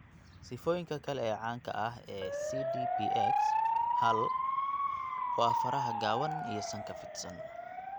Sifooyinka kale ee caanka ah ee CDPX hal waa faraha gaaban iyo sanka fidsan.